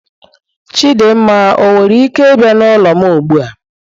Chidinma owere ike bia n'ulo m ugbua?